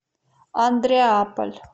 андреаполь